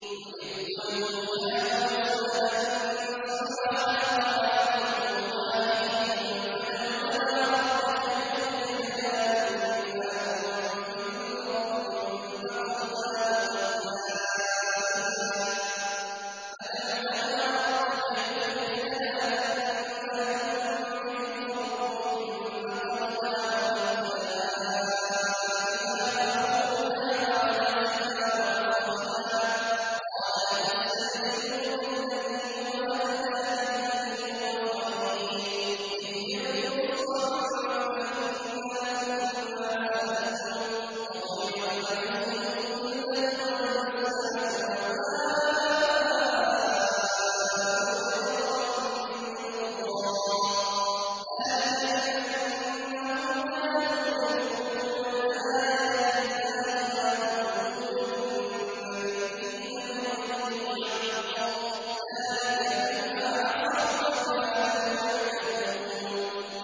وَإِذْ قُلْتُمْ يَا مُوسَىٰ لَن نَّصْبِرَ عَلَىٰ طَعَامٍ وَاحِدٍ فَادْعُ لَنَا رَبَّكَ يُخْرِجْ لَنَا مِمَّا تُنبِتُ الْأَرْضُ مِن بَقْلِهَا وَقِثَّائِهَا وَفُومِهَا وَعَدَسِهَا وَبَصَلِهَا ۖ قَالَ أَتَسْتَبْدِلُونَ الَّذِي هُوَ أَدْنَىٰ بِالَّذِي هُوَ خَيْرٌ ۚ اهْبِطُوا مِصْرًا فَإِنَّ لَكُم مَّا سَأَلْتُمْ ۗ وَضُرِبَتْ عَلَيْهِمُ الذِّلَّةُ وَالْمَسْكَنَةُ وَبَاءُوا بِغَضَبٍ مِّنَ اللَّهِ ۗ ذَٰلِكَ بِأَنَّهُمْ كَانُوا يَكْفُرُونَ بِآيَاتِ اللَّهِ وَيَقْتُلُونَ النَّبِيِّينَ بِغَيْرِ الْحَقِّ ۗ ذَٰلِكَ بِمَا عَصَوا وَّكَانُوا يَعْتَدُونَ